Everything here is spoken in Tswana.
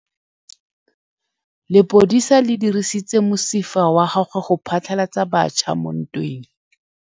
Lepodisa le dirisitse mosifa wa gagwe go phatlalatsa batšha mo ntweng.